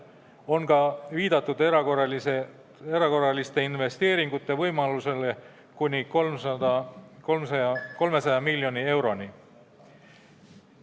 On ka viidatud erakorraliste investeeringute võimalusele kuni 300 miljoni euro ulatuses.